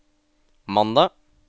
mandag